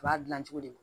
U b'a dilan cogo de la